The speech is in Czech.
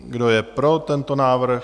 Kdo je pro tento návrh?